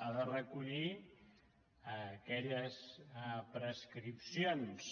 ha de recollir aquelles prescrip·cions